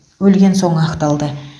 өлген соң ақталды